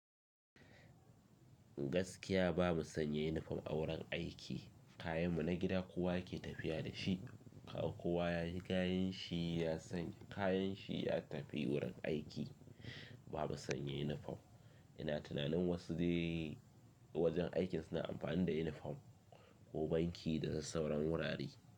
Gaskiya bamu sanya unifom a wurin aiki, kayanmu na gida kuwa ke tafiya da shi. Kaga Kowa yayi kayanshi ya tafi wurin aiki. Ba mu sanya unifom. Ina tunanin wasu dai wajen aikin suna amfani da yunifom, ko banki da sassauren wurare.